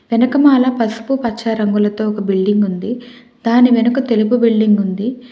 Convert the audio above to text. వెనకలమాల పసుపు పచ్చ రంగులతో ఒక బిల్డింగ్ ఉంది దాని వెనుక తెలుపు బిల్డింగ్ ఉంది.